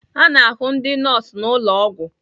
A na-ahụ ndị nọọsụ na ụlọ ọgwụ